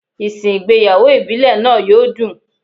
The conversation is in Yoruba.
Ìsìn ìgbéyàwó ìbílẹ̀ náà yó dùn.